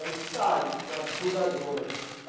Eles saem com a cuidadora.